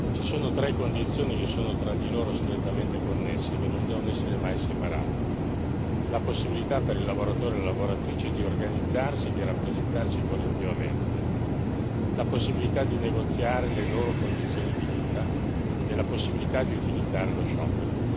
Ci sono tre condizioni che sono tra di loro strettamente connesse e che non devono essere mai separate la possibilità per il lavoratore lavoratrice di organizzarsi e di rappresentarsi collettivamente, la possibilità di negoziare le loro condizioni di vita e la possibilità di utilizzare lo sciopero.